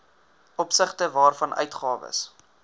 opsigte waarvan uitgawes